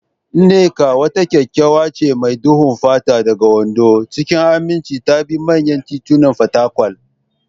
Nneka, wata kyakkyawa ce mai duhun fata daga Ondo, cikin aminci ta bi manyan titunan Fatakwal.